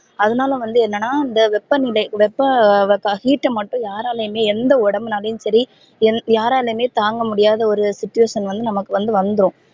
அதுனால வந்து என்னனா இந்த வெப்பநிலை வெப்ப heat ட மட்டும் யாராலையுமே எந்த உடம்பு நாளையும் சரி யாராலையும் தாங்க முடியாது ஒரு situation வந்து நமக்கு வந்து வந்துரும்